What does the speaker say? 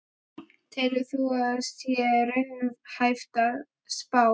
Telur þú að það sé raunhæf spá?